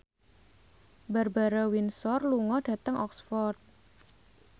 Barbara Windsor lunga dhateng Oxford